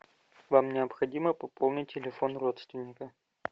вам необходимо пополнить телефон родственника